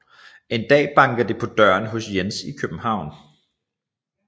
En dag banker det på døren hos Jens i København